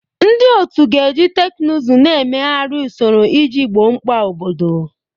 Ndị otu ga-eji teknụzụ na-emegharị usoro iji gboo mkpa obodo.